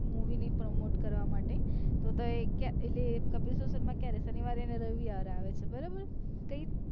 movie ની promote કરવા માટે તો તો એ એટલે એ કપિલ show શર્મા ક્યારે શનિવારે ને રવિવારે આવે છે બરાબર ત્ય